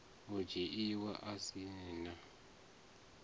u dzhiiwa a si na